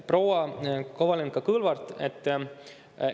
Proua Kovalenko-Kõlvart!